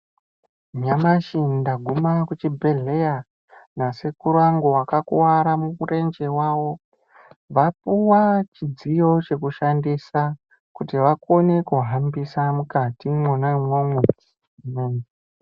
Nyamashi ndaguma kuchibhedhleya nasekuru angu vakakuwara murenje wavo vapuwa chidziyo chekushandisa kuti vakone kuhambisa mukati mwona umwomwo.